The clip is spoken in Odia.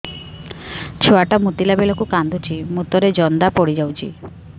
ଛୁଆ ଟା ମୁତିଲା ବେଳକୁ କାନ୍ଦୁଚି ମୁତ ରେ ଜନ୍ଦା ପଡ଼ି ଯାଉଛି